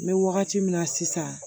N bɛ wagati min na sisan